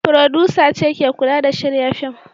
Furodusa ce ke kula da shirya fim.